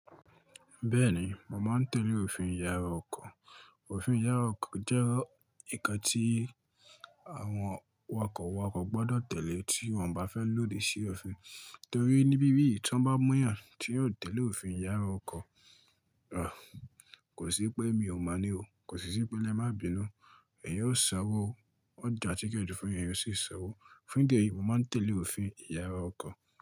Bẹ́ẹ̀ni, mo màá ń tẹ̀lé òfin ìyàrá ọkọ̀. Òfin ìyàrá ọkọ̀ jẹ́ ǹkan tí àwọn awakọ̀ wakọ̀ gbọdọ̀ tẹ̀lé tí wọ́n bá fẹ́ lòdì sí òfin. Torí ní bíbí ti won bá mú eeyàn, tí yóò tẹ̀lé òfin ìyàrá ọkọ̀, kò sí pé èmi ò mọ̀ ní o, kò sí sí pé lẹ́ má bínu, ẹ̀yin ó ṣan'owọ o, wọn jà tíckẹtì fún ẹ̀eyan ó sì ṣ'àn owọ. Fun idi eyìí, mo màá ń tẹ̀lé òfin ìyàrá ọkọ̀.